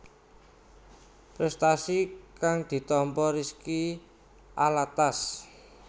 Prestasi kang ditampa Rizky Alatas